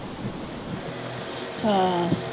ਹਾਂ।